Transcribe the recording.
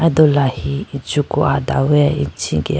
do lahi inchiku adaweya ichigeah.